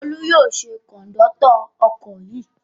Olú yóò ṣe kọ̀ńdọ́tọ̀ ọkọ̀ yìí.